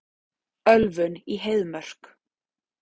Ölvun í Heiðmörk